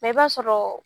i b'a sɔrɔ